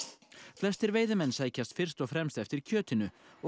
flestir veiðimenn sækjast fyrst og fremst eftir kjötinu og